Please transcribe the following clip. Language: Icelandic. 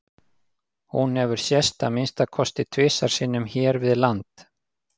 Hún hefur sést að minnsta kosti tvisvar sinnum hér við land.